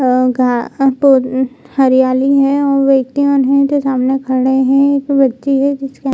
और गा उ हरियाली है और व्यक्तियों है। जो सामने खड़े है एक व्यक्ति है जिसके--